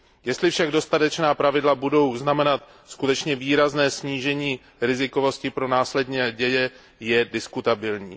Jestli však dodatečná pravidla budou znamenat skutečně výrazné snížení rizikovosti pro následné děje je diskutabilní.